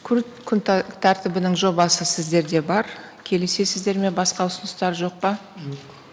күн тәртібінің жобасы сіздерде бар келісесіздер ме басқа ұсыныстар жоқ па жоқ